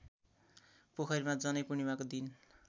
पोखरीमा जनैपूर्णिमाको दिन